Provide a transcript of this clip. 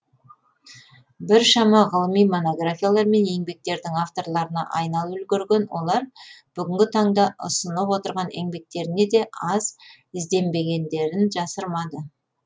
біршама ғылыми монографиялар мен еңбектердің авторларына айналып үлгерген олар бүгінгі таңда ұсынып отырған еңбектеріне де аз ізденбегендерін жасырмады